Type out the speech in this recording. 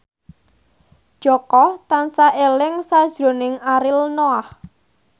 Jaka tansah eling sakjroning Ariel Noah